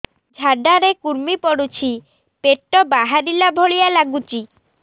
ଝାଡା ରେ କୁର୍ମି ପଡୁଛି ପେଟ ବାହାରିଲା ଭଳିଆ ଲାଗୁଚି